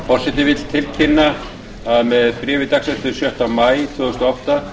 forseti vill tilkynna að með bréfi dagsettu sjötta maí tvö þúsund og átta